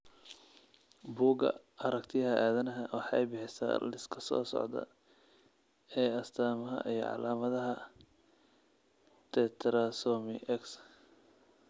Bugga Aragtiyaha Aadanaha waxay bixisaa liiska soo socda ee astaamaha iyo calaamadaha Tetrasomy X.